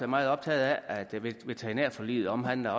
meget optaget af at veterinærforliget omhandler